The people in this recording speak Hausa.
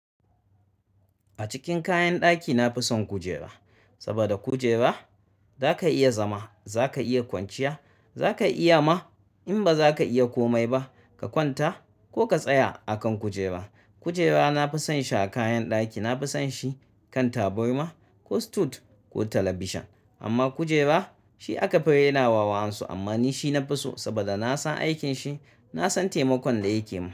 A cikin kayan ɗaki nafison kujera saboda kujera zaka iya zama zaka iya kwanciya zaka iya ma in baza ka iya komai ba ka kwanta ko ka tsaya akan kujera kujera na fi son shi a kayan ɗaki, na fi son shi kan taburma ko sutut ko talabishin. Amma kujera shi aka fi raina wa wa'an su amma ni shi nafi so saboda na san aikin shi, na san taimakon da yake yi.